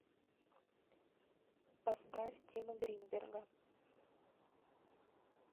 поставь тима гринберга